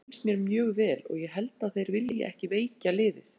Félagið hefur reynst mér mjög vel og ég held að þeir vilji ekki veikja liðið.